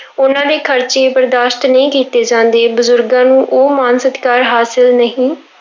ਉਹਨਾਂ ਦੇ ਖ਼ਰਚੇ ਬਰਦਾਸ਼ਤ ਨਹੀਂ ਕੀਤੇ ਜਾਂਦੇ, ਬਜ਼ੁਰਗਾਂ ਨੂੰ ਉਹ ਮਾਣ ਸਤਿਕਾਰ ਹਾਸਿਲ ਨਹੀਂ